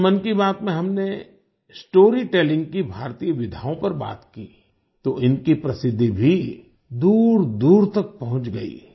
जब मन की बात में हमने स्टोरीटेलिंग की भारतीय विधाओं पर बात की तो इनकी प्रसिद्धि भी दूरदूर तक पहुँच गई